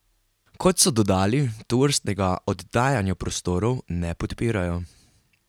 Kot so dodali, tovrstnega oddajanja prostorov ne podpirajo.